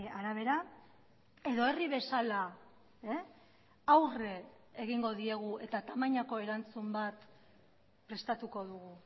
arabera edo herri bezala aurre egingo diegu eta tamainako erantzun bat prestatuko dugu